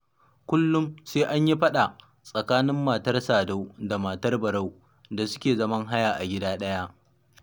Kullum sai an yi faɗa tsakanin matar Sadau da matar Barau da suke zaman haya a gida ɗaya.